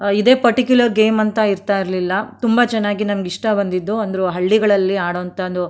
ಇದೇ particular game ಅಂತ ಇರ್ತಾ ಇರ್ಲಿಲ್ಲ ತುಂಬಾ ಚೆನ್ನಾಗಿ ನಮಗೆ ಇಷ್ಟ ಬಂದಿದ್ದು ಒಂದು ಹಳ್ಳಿಗಳಲ್ಲಿ ಆಡೋ ಅಂತದ್ದು --